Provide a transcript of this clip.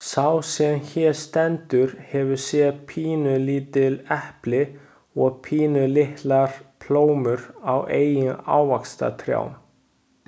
Sá sem hér stendur hefur séð pínulítil epli og pínulitlar plómur á eigin ávaxtatrjám.